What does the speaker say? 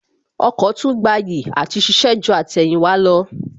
Ọkọ̀ tún gbayì àti ṣiṣẹ́ ju àtẹ̀yìnwá lọ